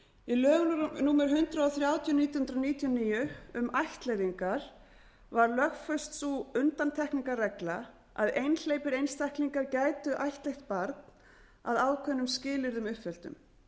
í lögum númer hundrað þrjátíu nítján hundruð níutíu og níu um ættleiðingar var lögfest sú undantekningarregla að einhleypir einstaklingar gætu ættleitt barn að ákveðnum skilyrðum uppfylltum